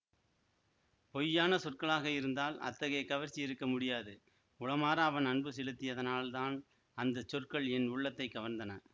பொய்யான சொற்களாக இருந்தால் அத்தகைய கவர்ச்சி இருக்க முடியாது உளமார அவன் அன்பு செலுத்தியதனால் தான் அந்த சொற்கள் என் உள்ளத்தை கவர்ந்தன